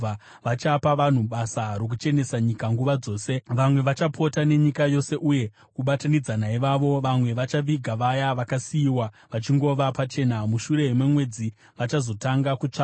“ ‘Vachapa vanhu basa rokuchenesa nyika nguva dzose. Vamwe vachapota nenyika yose uye, kubatanidza naivavo vamwe vachaviga vaya vakasiyiwa vachingova pachena. Mushure memwedzi vachazotanga kutsvaga.